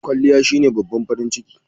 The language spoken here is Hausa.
Kwalliya shine babban farin ciki..